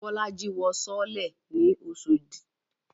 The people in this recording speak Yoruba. Bolaji wọ sọọ́lẹ̀ ní Oshodi